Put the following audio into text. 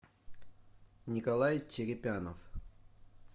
николай черепянов